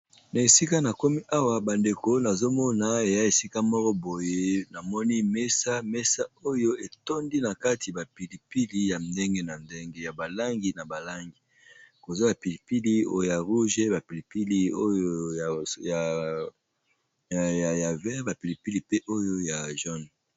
Na esika na komi awa bandeko nazomona eya esika moko boye namoni mesa mesa oyo etondi na kati bapilipili ya ndenge na ndenge ya balangi na balangi kozwa bapilipili oyoya rouge bapilipili ya ver bapilipili pe oyo ya malala.